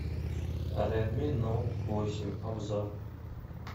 редми ноут восемь обзор